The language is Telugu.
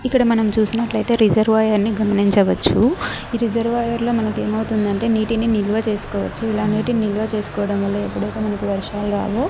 ఇక్కడ మనం చూసినట్లైతే రిజర్వాయర్ అని గమనించవచ్చు ఈ రిజర్వాయర్ లో మనకేమౌతుందంటే నీటిని నిల్వ చేసుకోవచ్చు ఇలా నీటిని నిల్వ చేసుకోవడం వల్ల ఎప్పుడైతే మనకు వర్షాలు రావు.